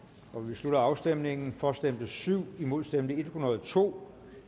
slutter afstemningen for stemte syv imod stemte en hundrede og to